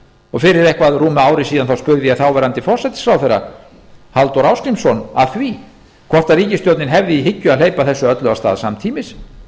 fyrir eitthvað rúmu ári síðan spurði ég þáverandi forsætisráðherra halldór ásgrímsson að því hvort ríkisstjórnin hefði í hyggju að hleypa þessu öllu af stað samtímis